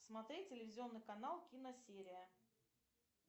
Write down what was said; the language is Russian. смотреть телевизионный канал киносерия